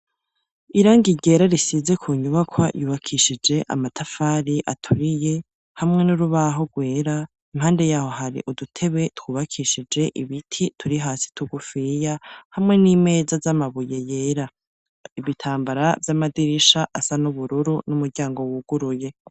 irang igera risize ku nyubaka yubakishije amatafari aturiye hamwe n'urubaho gwera impande yaho hari udutebe twubakishije ibiti turi hasi tugufiya hamwe n'imeza z'amabuye yera ibitambara by'amadirisha asa n'ubururu n'umuryango wuguruye